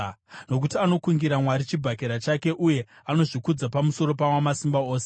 nokuti anokungira Mwari chibhakera chake uye anozvikudza pamusoro paWamasimba Ose,